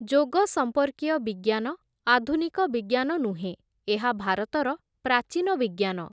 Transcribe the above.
ଯୋଗ ସମ୍ପର୍କୀୟ ବିଜ୍ଞାନ, ଆଧୁନିକ ବିଜ୍ଞାନ ନୁହେଁ, ଏହା ଭାରତର ପ୍ରାଚୀନ ବିଜ୍ଞାନ ।